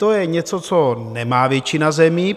To je něco, co nemá většina zemí.